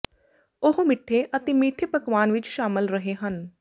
ਉਹ ਮਿੱਠੇ ਅਤੇ ਮਿਠੇ ਪਕਵਾਨ ਵਿੱਚ ਸ਼ਾਮਿਲ ਰਹੇ ਹਨ